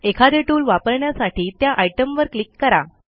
एखादे टूल वापरण्यासाठी त्या आयटमवर क्लिक करा